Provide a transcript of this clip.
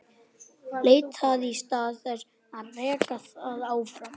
Leitt það í stað þess að reka það áfram.